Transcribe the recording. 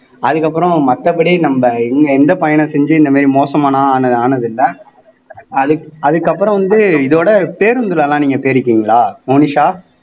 அதுக்கப்புறம் மத்தபடி நம்ம இவங்க எந்த பயணம் செஞ்சு இந்த மாறி மோசமான ஆன ஆனதில்ல அதுக் அதுக்கப்புறம் வந்து இதோட பேருந்துல எல்லாம் நீங்க போயிருக்கீங்களா மோனிஷா